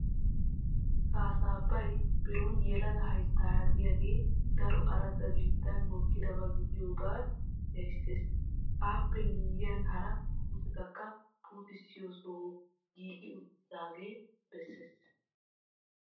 Kaasabay biron yelaga hayttaara de'iyagee daro aradda biittan mokkidaba gidiyogee erissees. Appe miyyiyan hara puutetakka puutissiyo sohoy giigi uttaagee beeees